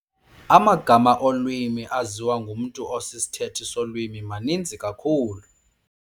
Amagama olwimi aziwa ngumntu osisithethi solwimi maninzi kakhulu.